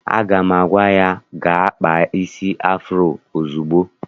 Aga m agwa ha gaa kpaa isi afuro ozugbo!